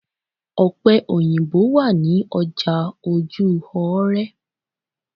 Ọ̀pẹ̀ òyìnbo wà ní ọjà Ojú-òóré.